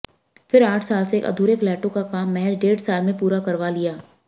फिर आठ साल से अधूरे फ्लैटों का काम महज डेढ़ साल में पूरा करवा लिया